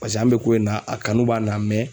Paseke an be ko in na, a kanu b'an la